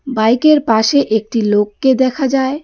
বাইকের পাশে একটি লোককে দেখা যায়।